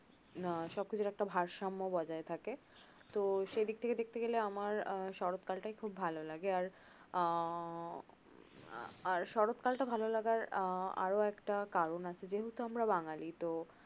আহ সবকিছুর একটা ভারসাম্য বজায় থাকে তো সেদিক থেকে দেখতে গেলে আমার আহ শরৎ কালটা ভাল লাগে আর আহ আর শরৎ কালটা ভাললাগার আহ আরো একটা কারন আছে যেহেতু আমরা বাঙালি তো